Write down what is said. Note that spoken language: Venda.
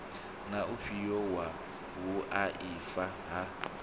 na ufhio wa vhuaifa ha